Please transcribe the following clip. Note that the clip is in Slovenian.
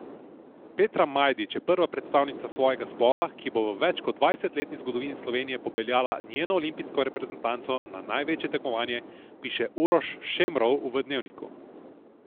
Petra Majdič je prva predstavnica svojega spola, ki bo v več kot dvajsetletni zgodovini Slovenije popeljala njeno olimpijsko reprezentanco na največje tekmovanje, piše Uroš Šemrov v Dnevniku.